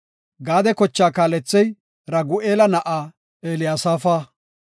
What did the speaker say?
Gaade kochaa kaalethey Ragu7eela na7aa Eliyasaafa.